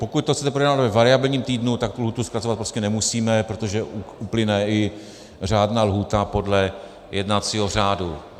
Pokud to chcete projednat ve variabilním týdnu, tak tu lhůtu zkracovat prostě nemusíme, protože uplyne i řádná lhůta podle jednacího řádu.